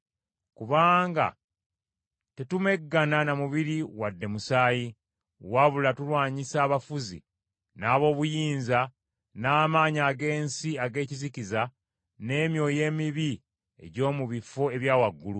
Kubanga tetumeggana na mubiri wadde musaayi, wabula tulwanyisa abafuzi, n’ab’obuyinza, n’amaanyi ag’ensi ag’ekizikiza, n’emyoyo emibi egy’omu bifo ebya waggulu.